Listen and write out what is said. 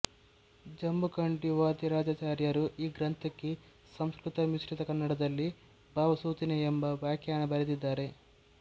ಜಂಬುಕಂಡೀ ವಾದಿರಾಜಾಚಾರ್ಯರು ಈ ಗ್ರಂಥಕ್ಕೆ ಸಂಸ್ಕೃತ ಮಿಶ್ರಿತ ಕನ್ನಡದಲ್ಲಿ ಭಾವಸೂಚನೆ ಎಂಬ ವ್ಯಾಖ್ಯಾನ ಬರೆದಿದ್ದಾರೆ